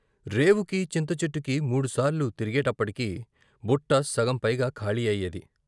రేవుకీ, చింతచెట్టుకీ మూడు సార్లు తిరిగేప్పటికి బుట్ట సగం పైగా ఖాళీ అయ్యేది.